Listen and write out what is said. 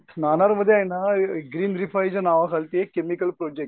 नानार मध्ये ना ग्रीन रिफाइलच्या नावाखालती एक केमिकल प्रोजेक्ट